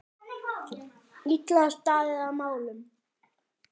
Illa staðið að málum.